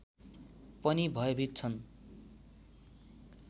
पनि भयभीत छन्